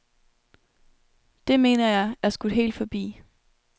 Det, mener jeg, er skudt helt forbi.